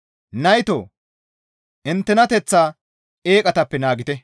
Naytoo! Inttenateththaa eeqatappe naagite.